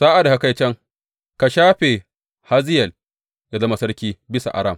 Sa’ad da ka kai can, ka shafe Hazayel yă zama sarki bisa Aram.